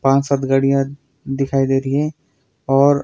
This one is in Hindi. पाच सात गाड़िया दिखाई दे रही है और--